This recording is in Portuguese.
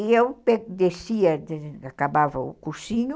E eu descia, acabava o cursinho,